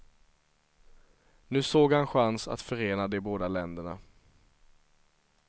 Nu såg han chans att förena de båda länderna.